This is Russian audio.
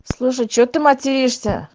слушай чего ты материшься